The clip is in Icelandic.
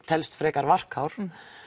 telst frekar varkár